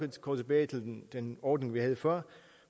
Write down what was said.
gå tilbage til den ordning vi havde før